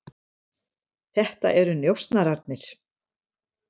Þetta eru njósnararnir.